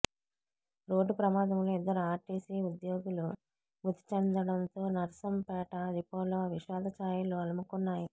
road ప్రమాదంలో ఇద్దరు RTC ఉద్యోగులు మృతి చెందడంతో నర్సంపేట డిపోలో విషాదఛాయలు అలుముకున్నాయి